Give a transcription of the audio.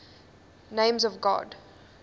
names of god